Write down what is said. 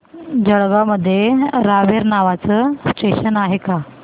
जळगाव मध्ये रावेर नावाचं स्टेशन आहे का